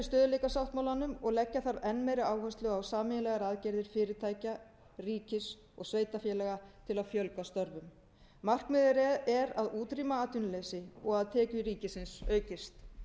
sáttmálanmum og leggja þarf enn meiri áherslu á sameiginlegar aðgerðir fyrirtækja ríkis og sveitarfélaga til að fjölga störfum markmiðið er að útrýma atvinnuleysi og að tekjur ríkisins aukist